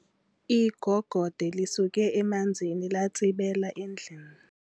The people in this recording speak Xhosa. Igogode lisuke emanzini latsibela endlini.